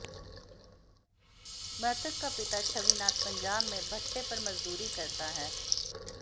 मृतक का पिता छविनाथ पंजाब में भट्टे पर मजदूरी करता है